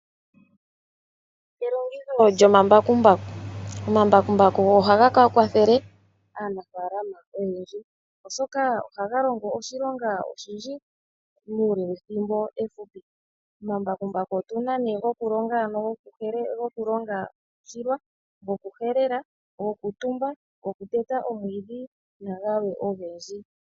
Elongitho lyomambakumbaku Omambakumbaku ohaga kwathele aanafalama oyendji, oshoka ohaga longo oshilonga oshindji muule wethimbo efupi. Omambakumbaku otuna nee gokulonga, gokulonga oshilwa ,gokuhelela, gokutumba ,goteta omwiidhi nagalwe ogendji .